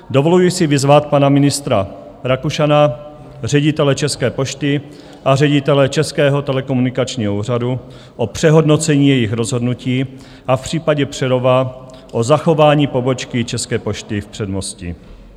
Dovoluji si vyzvat pana ministra Rakušana, ředitele České pošty a ředitele Českého komunikačního úřadu o přehodnocení jejich rozhodnutí a v případě Přerova o zachování pobočky České pošty v Předmostí.